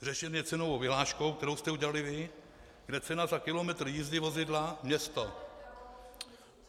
Řešen je cenovou vyhláškou, kterou jste udělali vy, kde cena za kilometr jízdy vozidla město...